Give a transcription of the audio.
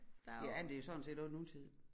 Ja det er jo sådan set også nutid